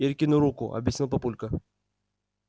иркину руку объяснил папулька